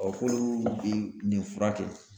k'olu bi nin fura kɛ